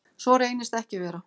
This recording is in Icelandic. Svo reynist ekki vera.